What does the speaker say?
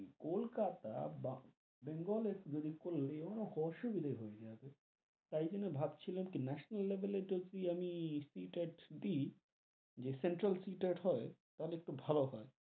কলকাতা বা বেঙ্গল এর যদি করলেও অসুবিধে হয়ে যাবে, তাই জন্য ভাবছিলাম কি national level এর যদি আমি সি টেট দি, যে সেন্ট্রাল সি টেট হয়, তাহলে একটু ভালো হয়,